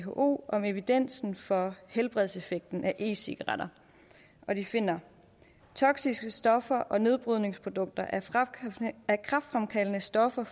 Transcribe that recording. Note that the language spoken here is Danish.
who om evidensen for helbredseffekten af e cigaretter og de finder toksiske stoffer og nedbrydningsprodukter af kræftfremkaldende stoffer